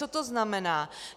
Co to znamená?